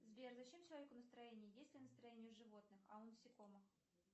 сбер зачем человеку настроение есть ли настроение у животных а у насекомых